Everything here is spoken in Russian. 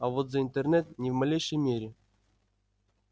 а вот за интернет ни в малейшей мере